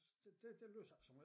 Der der der læser jeg ikke så meget